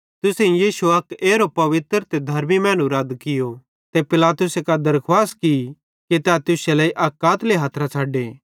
तुसेईं यीशु अक एरो पवित्र ते धर्मी मैनू रद कियो ते पिलातुसे कां दरखुवास की कि तै तुश्शे लेइ अक कातली हथरां छ़डे